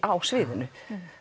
á sviðinu